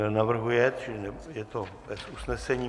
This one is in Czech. Nenavrhuje, čili je to bez usnesení.